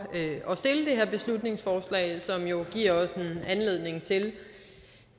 at beslutningsforslag som jo giver os en anledning til